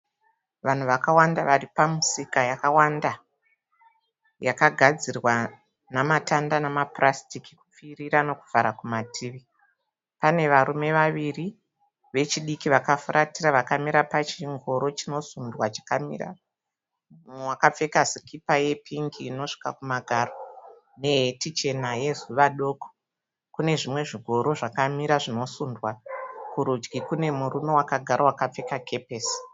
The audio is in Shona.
Vanhu vakawanda vari pamusika yakawanda, yakagadzirwa nematanda nemapurasitiki kupfirira nekuvhara kumativi. Pane varume vaviri vechidiki vakafuratira vakamira pachingori chinosundwa chakamira. Mumwe akapfeka sikipa yepingi inosvika kumagaro nehati chena yezuva doko. Kune zvimwe zvingoro zvakamira zvinosundwa. Kurudyi kune murume akapfeka kepesi